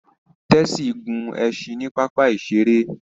Tessy gún ẹṣin ní papa iṣere